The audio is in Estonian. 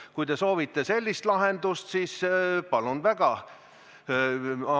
Kui te soovite sellist lahendust, siis palun väga!